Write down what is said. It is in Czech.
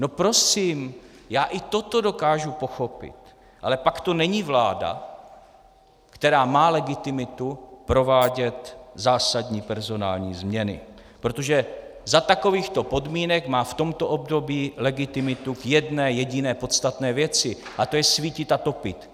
No prosím, já i toto dokážu pochopit, ale pak to není vláda, která má legitimitu provádět zásadní personální změny, protože za takovýchto podmínek má v tomto období legitimitu k jedné jediné podstatné věci, a to je svítit a topit.